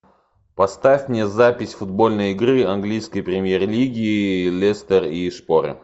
поставь мне запись футбольной игры английской премьер лиги лестер и шпоры